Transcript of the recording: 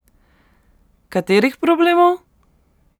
Katerih problemov?